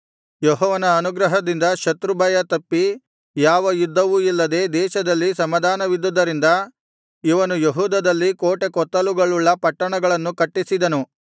ಯೆಹೋವನ ಅನುಗ್ರಹದಿಂದ ಶತ್ರುಭಯ ತಪ್ಪಿ ಯಾವ ಯುದ್ಧವೂ ಇಲ್ಲದೆ ದೇಶದಲ್ಲಿ ಸಮಾಧಾನವಿದ್ದುದರಿಂದ ಇವನು ಯೆಹೂದದಲ್ಲಿ ಕೋಟೆಕೊತ್ತಲುಗಳುಳ್ಳ ಪಟ್ಟಣಗಳನ್ನು ಕಟ್ಟಿಸಿದನು